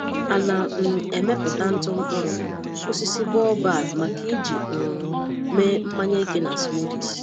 Ana um m emepụta ntụ mkpụrụ osisi baobab maka iji um mee mmanya eke na smoothies.